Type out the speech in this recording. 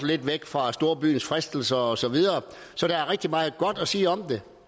lidt væk fra storbyens fristelser og så videre så der er rigtig meget godt at sige om det